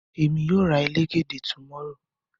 Emi yoo ra elegede tomorrow